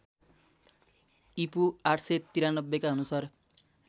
ईपू ८९३ का अनुसार